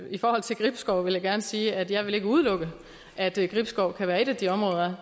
i forhold til gribskov vil jeg gerne sige at jeg ikke vil udelukke at gribskov kan være et af de områder